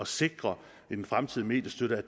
sikre at den fremtidige mediestøtte